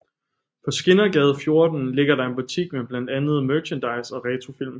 På Skindergade 14 ligger der en butik med blandt andet merchandise og retrofilm